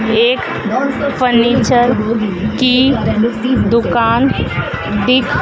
एक फर्नीचर की दुकान दिख--